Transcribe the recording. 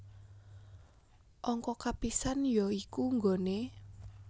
Angka kapisan ya iku nggone